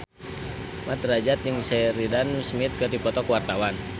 Mat Drajat jeung Sheridan Smith keur dipoto ku wartawan